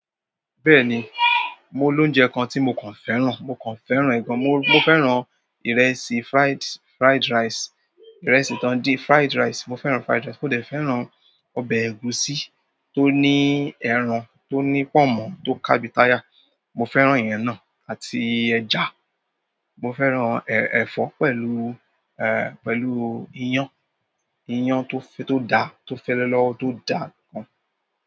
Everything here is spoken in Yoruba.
Bẹ́ẹ̀ni, mo lóúnjẹ kan tí mo kàn fẹ́ràn. Mokan fẹ́ràn ẹ gan, mo fẹ́ràn ìrẹsì, fried rice, ìrẹsì tan din, fried rice, mo fẹ́ràn fried rice, mo dẹ̀ fẹ́ràn ẹran ọbẹ̀ ẹ̀gúsí, tó ní ẹran, tó ní pomo tó ka bíi tyre. Mo fẹ́ràn ìyẹn náà àti ẹja. Mo fẹ́ràn ẹ̀fọ́ pẹ̀lú, pẹ̀lú iyán. Iyán tó da, tó fẹ́lẹ́ lọ́wọ́, tó da gan.